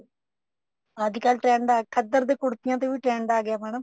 ਅੱਜਕਲ trend ਹੈ ਖੱਦਰ ਦੀਆਂ ਕੁੜਤੀਆਂ ਤੇ ਵੀ trend ਆ ਗਿਆ madam